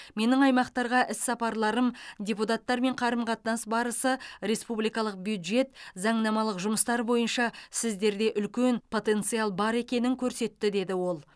менің аймақтарға іс сапарларым депутаттармен қарым қатынас барысы республикалық бюджет заңнамалық жұмыстар бойынша сіздерде үлкен потенциал бар екенін көрсетті деді ол